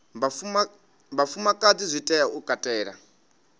vhafumakadzi zwi tea u katela